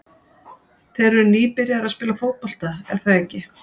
Þeir eru nýbyrjaðir að spila fótbolta, er það ekki?